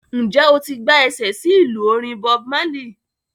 Ǹjẹ́ o ti gbá ẹsẹ̀ sí ìlú orin Bob Marley?